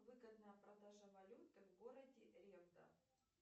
выгодная продажа валюты в городе ревда